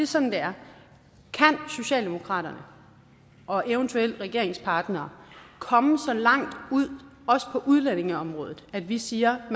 sådan det er kan socialdemokratiet og eventuelle regeringspartnere komme så langt ud også på udlændingeområdet at vi siger at